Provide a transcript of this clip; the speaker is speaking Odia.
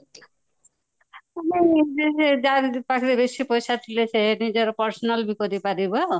ଯାହା ପାଖରେ ବେଶୀ ପଇସା ଥିଲେ ସେ ନିଜର personal ବି କରିପାରିବ